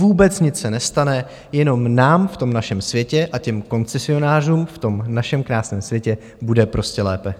Vůbec nic se nestane, jenom nám v tom našem světě a těm koncesionářům v tom našem krásném světě bude prostě lépe.